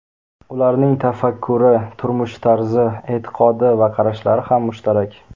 Ularning tafakkuri, turmush tarzi, e’tiqodi va qarashlari ham mushtarak.